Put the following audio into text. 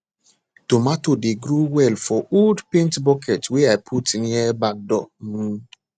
tomato dey grow well for old paint bucket wey i put near back door um